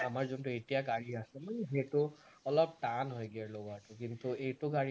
আমাৰ যোনটো এতিয়া গাড়ী আছে নহয় সেইটো অলপ টান হয় gear লগোৱাটো কিন্তু এইটো গাড়ী